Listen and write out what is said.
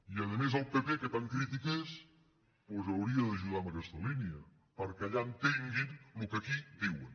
i a més el pp que tan crític és doncs hauria d’ajudar en aquesta línia perquè allà entenguin el que aquí diuen